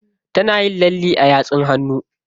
Tana yin lalle a yatsun hannu.